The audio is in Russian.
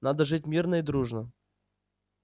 надо жить мирно и дружно